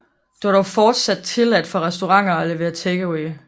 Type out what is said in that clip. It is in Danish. Det var dog fortsat tilladt for restauranter at levere take away